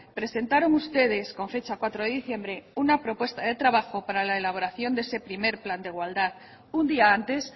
presentaron ustedes con fecha cuatro de diciembre una propuesta de trabajo para la elaboración de ese primer plan de igualdad un día antes